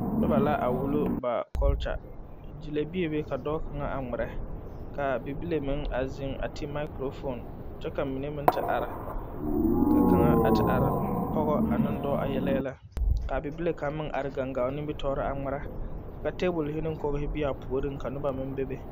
Noba la wullo ba kɔlkya gyili bebe ka dɔɔ kaŋa ŋmeɛrɛ ,ka bibile meŋ zeŋ a ti maagkurofon kyɛ ka mine meŋ te are ,ka kaŋa ti are pɔgela ane dɔɔ a yele yɛlɛ ka bibile kaŋa meŋ te are gaŋgao nimi tɔriŋ a ŋmeɛrɛ ka tabul ne kogri meŋ be a puoriŋ ka noba meŋ bebe.